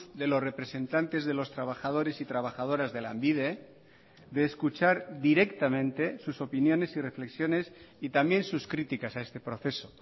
de los representantes de los trabajadores y trabajadoras de lanbide de escuchar directamente sus opiniones y reflexiones y también sus críticas a este proceso